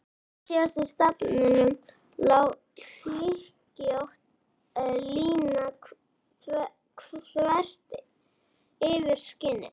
Frá síðasta stafnum lá hlykkjótt lína þvert yfir skinnið.